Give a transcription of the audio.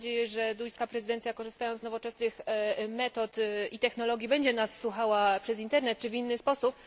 Mam nadzieję, że duńska prezydencja, korzystając z nowoczesnych metod i technologii, będzie nas słuchała przez internet czy w inny sposób.